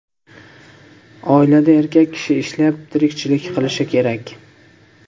Oilada erkak kishi ishlab, tirikchilik qilishi kerak.